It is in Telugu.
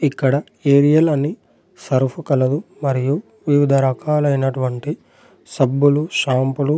ఇక్కడ ఏరియల్ అని సర్ఫ్ కలదు. మరియు వివిధ రకాలైనటువంటి సబ్బులు షాంపులు--